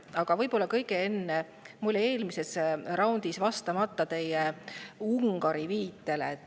Aga võib-olla kõigepealt: mul jäi eelmises raundis vastamata Ungari viitele.